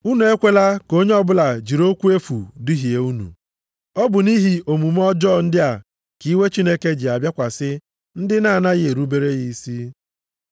Unu ekwela ka onye ọbụla jiri okwu efu duhie unu. Ọ bụ nʼihi omume ọjọọ ndị a ka iwe Chineke ji abịakwasị ndị na-anaghị erubere ya isi.